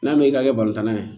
N'a mɛn i ka kɛ tan na ye